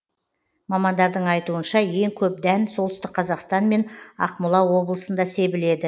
мамандардың айтуынша ең көп дән солтүстік қазақстан мен ақмола облысында себіледі